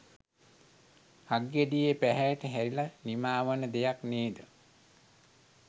හක්ගෙඩියේ පැහැයට හැරිල නිමා වන දෙයක් නේද?